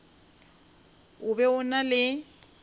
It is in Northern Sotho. o be o na le